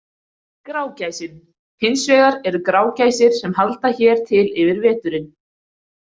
Grágæsin Hins vegar eru grágæsir sem halda hér til yfir veturinn.